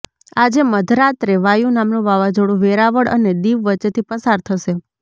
આજે મધરાત્રે વાયુ નામનું વાવાઝોડુ વેરાવળ અને દિવ વચ્ચેથી પસાર થશે